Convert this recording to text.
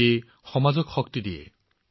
ইয়েই সমাজৰ শক্তি বৃদ্ধি কৰে